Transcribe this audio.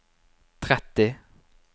tretti